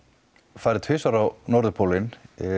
farið tvisvar á norðurpólinn